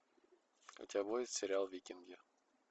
у тебя будет сериал викинги